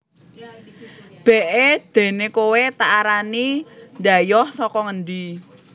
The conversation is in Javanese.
B É déné kowé tak arani dhayoh saka ngendi